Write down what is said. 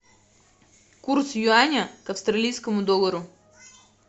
курс юаня к австралийскому доллару